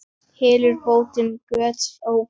Hylur bótin göt ófá.